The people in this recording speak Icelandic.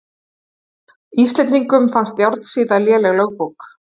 Íslendingum fannst Járnsíða léleg lögbók.